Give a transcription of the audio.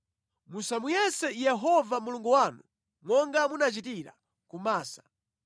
Musamuyese Yehova Mulungu wanu monga munachitira ku Masa.